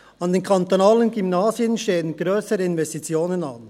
An den kantonalen Gymnasien stehen grössere Investitionen an.